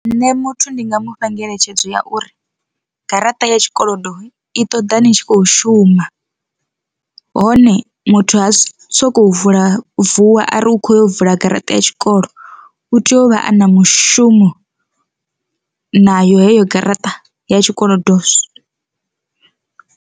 Nṋe muthu ndinga mufha ngeletshedzo ya uri garaṱa ya tshikolodo i ṱoḓa ni tshi khou shuma hone muthu ha sokou vula vuwa ari u kho yo vula garaṱa ya tshikolo, u tea u vha a na mushumo na yo heyo garaṱa ya tshikolodo.